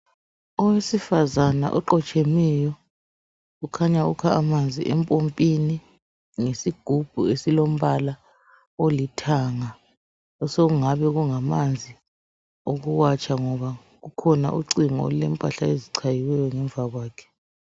Owesifazana oqotshemeyo ukhanya ukha amanzi empompini ngesigubhu esilombala olithanga osokungabe kungamanzi okuwatsha ngoba kukhona ucingo olulempahla ezichayiweyo ngemva kwakhe.